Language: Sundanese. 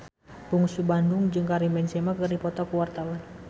Bungsu Bandung jeung Karim Benzema keur dipoto ku wartawan